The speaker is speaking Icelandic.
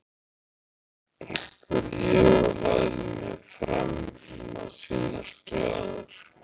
spurði ég og lagði mig fram um að sýnast glaður.